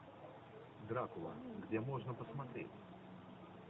дракула где можно посмотреть